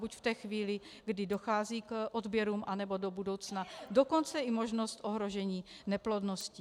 Buď v té chvíli, kdy dochází k odběrům, anebo do budoucna, dokonce i možnost ohrožení neplodností.